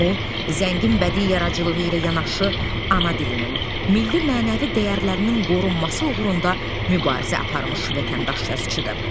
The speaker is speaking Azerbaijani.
O zəngin bədi yaradıcılığı ilə yanaşı ana dilinin, milli mənəvi dəyərlərinin qorunması uğrunda mübarizə aparmış vətəndaş yazıçıdır.